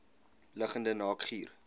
liggende naak guur